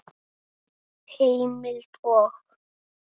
Heimild og